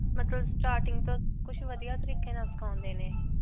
ਮਤਲਬ starting ਵਧੀਆ ਤਰੀਕੇ ਨਾਲ ਸਿਖਾਉਂਦੇ ਨੇ.